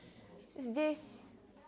здесь